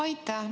Aitäh!